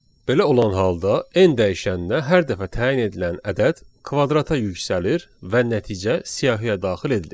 Belə olan halda n dəyişəninə hər dəfə təyin edilən ədəd kvadrata yüksəlir və nəticə siyahıya daxil edilir.